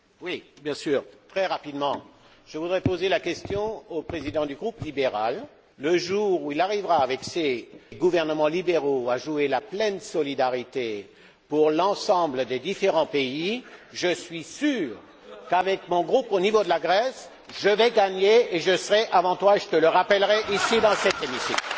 Monsieur le Président, je voudrais dire ceci au président du groupe libéral le jour où il arrivera, avec ses gouvernements libéraux, à jouer la pleine solidarité pour l'ensemble des différents pays, je suis sûr qu'avec mon groupe, au niveau de la Grèce, je vais gagner, je serai avant toi, et je te le rappellerai ici dans cet hémicycle.